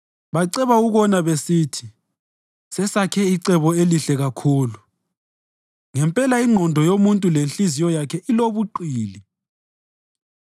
Baceba ukona besithi, “Sesakhe icebo elihle kakhulu!” Ngempela ingqondo yomuntu lenhliziyo yakhe ilobuqili.